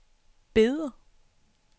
Beder